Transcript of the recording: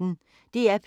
DR P1